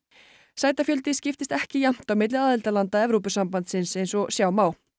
sætafjöldi skipist ekki jafnt á milli aðildarlanda Evrópusambandsins eins og sjá má